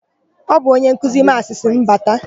Ọ bụ onye nkuzi Maasị sịrị m bata.